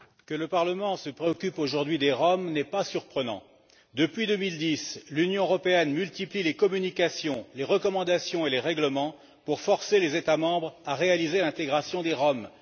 Madame la Présidente, que le Parlement se préoccupe aujourd'hui des Roms n'est pas surprenant. Depuis 2010, l'Union européenne multiplie les communications, les recommandations et les règlements pour forcer les États membres à réaliser l'intégration des Roms.